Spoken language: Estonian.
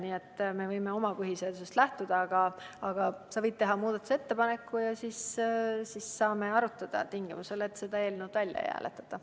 Nii et me võime oma põhiseadusest lähtuda, aga sa võid teha ka muudatusettepaneku ja siis saame seda arutada, tingimusel et seda eelnõu välja ei hääletata.